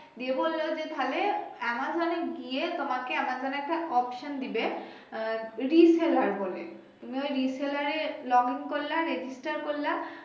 Amazon এ গিয়ে তোমাকে আমাজন ও একটা option দিবে আহ reseller বলে তুমি ওই reseller এ log in করাল register করলা